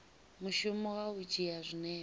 mushumo wa u dzhia zwinepe